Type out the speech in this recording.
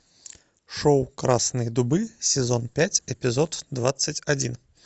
шоу красные дубы сезон пять эпизод двадцать один